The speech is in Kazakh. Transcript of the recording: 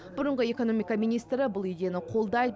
бұрынғы экономика министрі бұл идеяны қолдайды